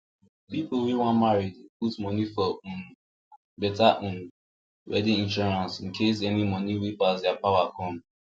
people wey wan marry dey put money for um better um wedding insurance incase any money wey pass their power come